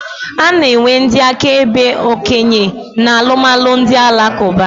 A na-enwe ndị akaebe okenye na alụmalụ ndị Alakụba.